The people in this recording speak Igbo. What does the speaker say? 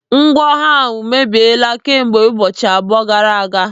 Ngwọ ahụ emebiela kamgbe ụbọchị abụọ gara aga.